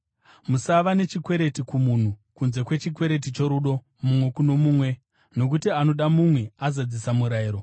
Musava nechikwereti kumunhu, kunze kwechikwereti chorudo mumwe kuno mumwe, nokuti anoda mumwe azadzisa murayiro.